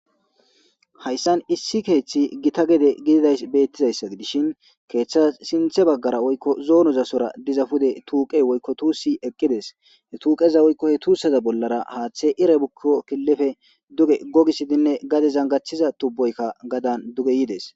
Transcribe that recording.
hayssan issi keeththi gita gede gididay beettizayssa dishin keeththa sinthe baggara oykko zoonozasora dizafude tuuqe woykko tuussi eqqides he tuuqeza oykko he tuusseza bollara haaththe ire bukko killife duge gogisidinne gade zangachiza tubboykka gadan duge yides